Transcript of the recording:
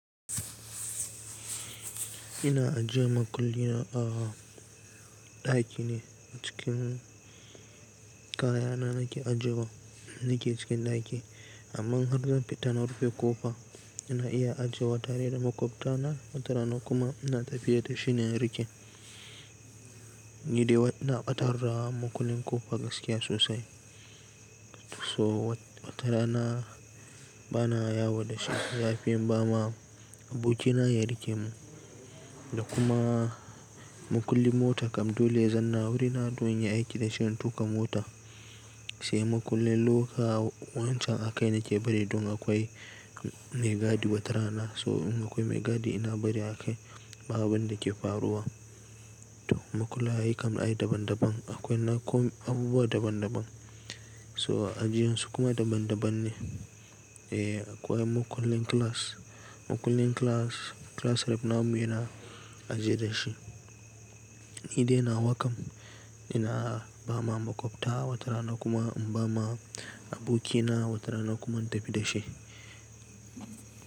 Ina ajiye makullin na a ɗaki ne. Cikin kayana nake ajewa, nake cikin ɗaki. Amma in har zan fita na rufe ƙofa, ina iya ajewa tare da maƙwabta na, wata rana kuma ina tafiya da shi na rike. Ni dai ina ɓatar da makullin ƙofa gaskiya sosai. So wata rana bana yawo da shi, ya fi in bama abokina ya rike mu. Da kuma makullin mota kam dole zanna wurina don in yi aiki da shi in tuƙa mota. Sai makullin loka wancan a kai nake bari don akwai maigadi wata rana. So in akwai maigadi ina bari a kai, ba abun da ke faruwa. Makullai ai kam ai daban daban. Akwai na abubuwa daban daban. So ajiyan su kuma daban daban ne. E, akwai makullin class, makullin class, class rep namu yana ajiye da shi. Ni dai na wa kam ina ba ma maƙwabta wata rana kuma in ba ma abokina wata rana kuma in tafi da shi.